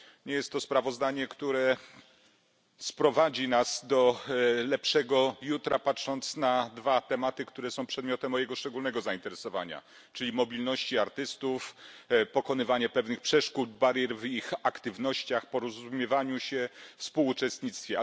Nie jest to sprawozdanie, które poprowadzi nas do lepszego jutra, jeżeli chodzi o dwa tematy, które są przedmiotem mojego szczególnego zainteresowania, czyli mobilność artystów oraz pokonywanie pewnych przeszkód i barier w ich aktywnościach, porozumiewaniu się i współuczestnictwie.